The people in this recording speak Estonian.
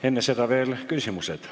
Enne seda veel küsimused.